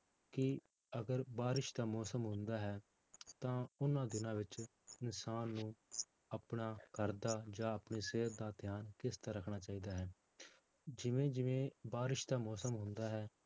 ਕਿ ਅਗਰ ਬਾਰਿਸ਼ ਦਾ ਮੌਸਮ ਹੁੰਦਾ ਹੈ ਤਾਂ ਉਹਨਾਂ ਦਿਨਾਂ ਵਿੱਚ ਇਨਸਾਨ ਨੂੰ ਆਪਣਾ ਘਰਦਾ ਜਾਂ ਆਪਣੀ ਸਿਹਤ ਦਾ ਧਿਆਨ ਕਿਸ ਤਰ੍ਹਾਂ ਰੱਖਣਾ ਚਾਹੀਦਾ ਹੈ, ਜਿਵੇਂ ਜਿਵੇਂ ਬਾਰਿਸ਼ ਦਾ ਮੌਸਮ ਹੁੰਦਾ ਹੈ